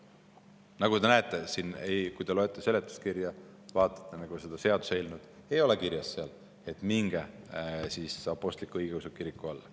Nagu te näete, kui te loete seletuskirja ja vaatate seda seaduseelnõu, siin ei ole kirjas, et mingu nad apostlik-õigeusu kiriku all.